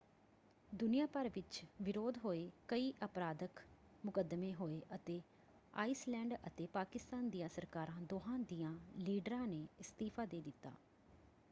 ਦੁਨੀਆ ਭਰ ਵਿੱਚ ਵਿਰੋਧ ਹੋਏ ਕਈ ਅਪਰਾਧਕ ਮੁਕੱਦਮੇ ਹੋਏ ਅਤੇ ਆਈਸਲੈਂਡ ਅਤੇ ਪਾਕਿਸਤਾਨ ਦੀਆਂ ਸਰਕਾਰਾਂ ਦੋਹਾਂ ਦਿਆਂ ਲੀਡਰਾਂ ਨੇ ਅਸਤੀਫਾ ਦੇ ਦਿੱਤਾ।